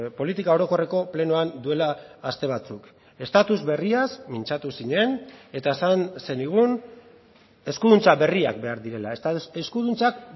politika orokorreko plenoan duela aste batzuk estatus berriaz mintzatu zinen eta esan zenigun eskuduntza berriak behar direla eskuduntzak